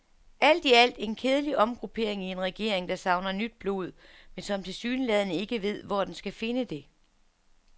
Alt i alt en kedelig omgruppering i en regering, der savner nyt blod, men som tilsyneladende ikke ved, hvor den skal finde det.